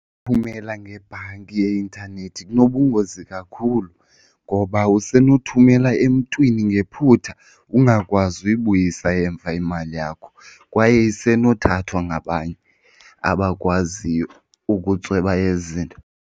ngebhanki yeintanethi kunobungozi kakhulu ngoba usenothumela emntwini ngephutha ungakwazi ukuyibuyisa emva imali yakho, kwaye isenothathwa ngabanye abakwaziyo ukutsweba ezi zinto.